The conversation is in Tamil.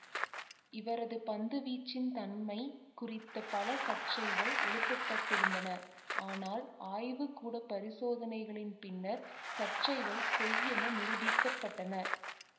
இவரது பந்துவீச்சின் தன்மைக் குறித்த பல சர்ச்சைகள் எழுப்பப்பட்டிருந்தன ஆனால் ஆய்வு கூட பரிசோதனைகளின் பின்னர் சர்ச்சைகள் பொய்யென நிரூபீக்கப்பட்டன